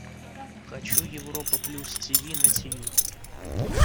хочу европа плюс тиви на тиви